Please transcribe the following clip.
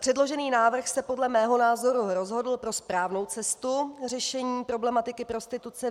Předložený návrh se podle mého názoru rozhodl pro správnou cestu řešení problematiky prostituce.